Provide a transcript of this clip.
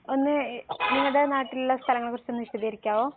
ഒന്ന് നിങ്ങടെ നാട്ടിൽ ഉള്ള സ്ഥലങ്ങളെ കുറിച്ചൊന്ന് വിശദീകരിക്കാമോ